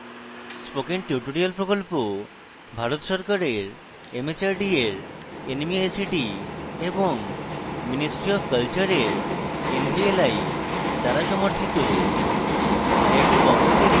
spoken tutorial project ভারত সরকারের mhrd এর nmeict এবং ministry অফ কলচারের nvli দ্বারা সমর্থিত